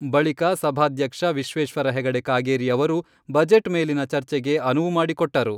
ಬಳಿಕ ಸಭಾಧ್ಯಕ್ಷ ವಿಶ್ವೇಶ್ವರ ಹೆಗಡೆ ಕಾಗೇರಿ ಅವರು ಬಜೆಟ್ ಮೇಲಿನ ಚರ್ಚೆಗೆ ಅನುವು ಮಾಡಿಕೊಟ್ಟರು.